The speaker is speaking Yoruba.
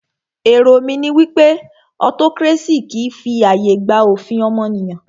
Èrò mí ní wípé autocracy kìí fi ààyè gba òfin ọmọnìyàn.